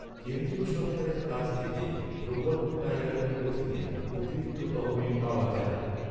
কেন্দ্রীয় সরকারের কাছ থেকে, প্রকল্প টাইগারের অধীনে অতিরিক্ত তহবিল পাওয়া যায়।